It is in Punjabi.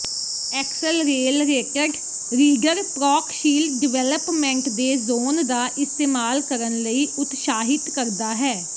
ਐਕਸਲਰੇਲਰੇਟਡ ਰੀਡਰ ਪ੍ਰੌਕਸ਼ੀਲ ਡਿਵੈਲਪਮੈਂਟ ਦੇ ਜ਼ੋਨ ਦਾ ਇਸਤੇਮਾਲ ਕਰਨ ਲਈ ਉਤਸ਼ਾਹਿਤ ਕਰਦਾ ਹੈ